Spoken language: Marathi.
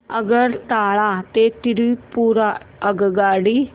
आगरतळा ते त्रिपुरा आगगाडी